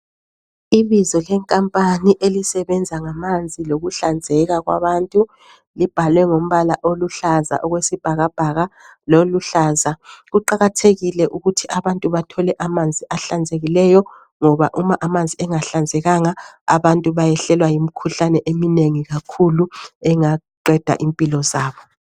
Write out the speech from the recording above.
Ibizo lenkampani elisebenza ngamanzi lokuhlanzeka kwabantu libhalwe ngombala oluhlaza okwesibhakabhaka loluhlaza .Kuqakathekile ukuthi abantu bathole amanzi ahlanzekileyo ngoba uma amanzi engahlanzekanga abantu bayehlelwa yimikhuhlane eminengi kakhulu engaqeda impilo zabo.